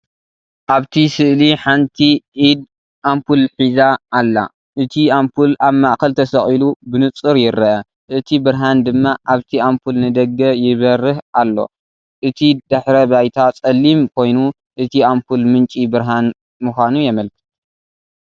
ኣብቲ ስእሊ ሓንቲ ኢድ ኣምፑል ሒዛ ኣላ። እቲ ኣምፑል ኣብ ማእከል ተሰቒሉ፡ ብንጹር ይርአ፡ እቲ ብርሃን ድማ ካብቲ ኣምፑል ንደገ ይበርህ ኣሎ። እቲ ድሕረ ባይታ ጸሊም ኮይኑ፡ እቲ ኣምፑል ምንጪ ብርሃን ምዃኑ የመልክት።